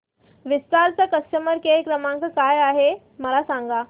विस्तार चा customer care क्रमांक काय आहे मला सांगा